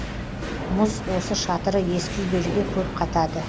мұз осы шатыры ескі үйлерге көп қатады